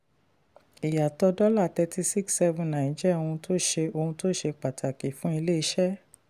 ìyàtọ̀ dollar thirty six seven nine jẹ́ ohun tó ṣe ohun tó ṣe pàtàkì fún ilé-iṣẹ́.